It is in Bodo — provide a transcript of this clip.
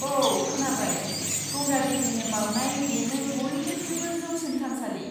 औ, खोनाबाय। गंगा देविनो बावनाय बेनो बयनिख्रुइबो जौसिन थानसालि।